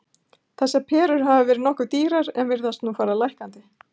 Þessar perur hafa verið nokkuð dýrar en virðast nú fara lækkandi.